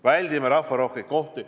Väldime rahvarohkeid kohti.